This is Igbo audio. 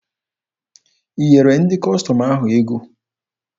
I nyere ndị Kọstọm ahụ ego?